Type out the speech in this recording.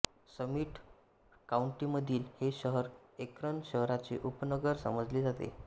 summit काउंटीमधील हे शहर एक्रन शहराचे उपनगर समजले जाते